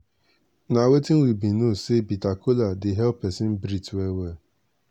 na wetin we bin know say bitter kola dey help peson breath well well.